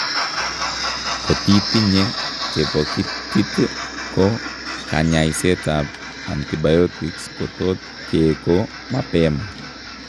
Kotitinnye chepokitit ko kanyaiseet ab antibiotics kotot keeko mapema